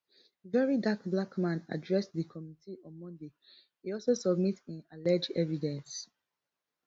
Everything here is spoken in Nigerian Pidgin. verydarkblackman address di committee on monday e also submit im allege evidence